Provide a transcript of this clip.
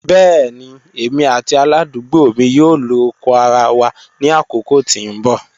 Bẹẹni emi ati aladugbo mi yoo lo oko ara wa ni akoko ti n bọ.